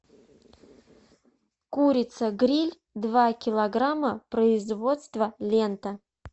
курица гриль два килограмма производство лента